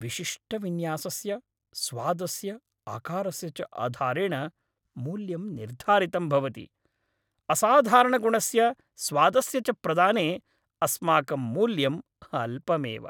विशिष्टविन्यासस्य, स्वादस्य, आकारस्य च आधारेण मूल्यं निर्धारितं भवति। असाधारणगुणस्य, स्वादस्य च प्रदाने अस्माकं मूल्यं अल्पमेव।